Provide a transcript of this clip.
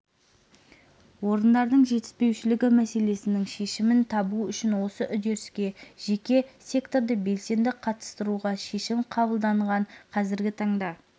орындардың жетіспеушілігі мәселесінің шешімін табу үшін осы үдеріске жеке секторды белсенді қатыстыруға шешім қабылданған қазіргі таңда